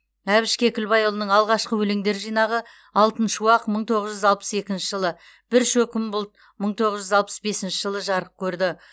әбіш кекілбайұлының алғашқы өлеңдер жинағы алтын шуақ мың тоғыз жүз алпыс екінші жылы бір шөкім бұлт мың тоғыз жүз алпыс бесінші жылы жарық көрді